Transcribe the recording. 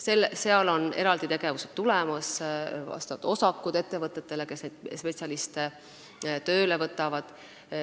Seal on tulemas eraldi tegevused, tulevad vastavad osakud ettevõtetele, kes spetsialiste tööle võtavad.